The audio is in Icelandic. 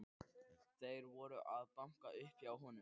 Þeir voru að banka upp á hjá honum.